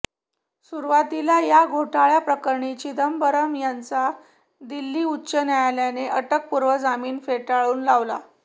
सुरूवातीला या घोटाळ्याप्रकरणी चिदंबरम यांचा दिल्ली उच्च न्यायलयाने अटकपूर्व जामीन फेटाळून लावला